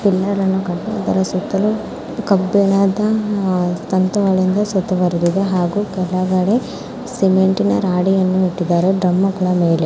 Pillar ಅನ್ನು ಕಟ್ಟಿದ್ದಾರೆ ಇದರ ಸುತ್ತಲೂ ಕಬ್ಬಿಣ್ಣದ ತಂತಿಗಳಿಂದ ಸುತ್ತುವರೆದಿದೆ ಹಾಗೂ ಕೆಳಗಡೆ ಸಿಮೆಂಟಿನ ರಾಡ್ ಗಳನ್ನು ಇಟ್ಟಿದ್ದಾರೆ. ಡ್ರಮ್ ಕೂಡ ಮೇಲೆ --